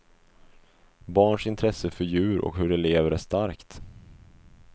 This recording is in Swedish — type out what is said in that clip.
Barns intresse för djur och hur de lever är starkt.